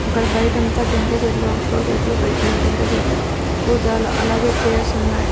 అక్కడ బైటంతా టెంకాయ్ చెట్లు షో చెట్లు పేట్నారు టెంకాయ్ చెట్లు కూజలు అలాగే చైర్స్ ఉన్నాయి.